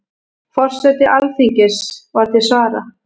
Forseti Alþingis var til svara.